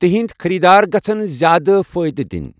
تِہنٛدۍ خریدار گژھن زیادٕ فٲیدٕ دِنۍ۔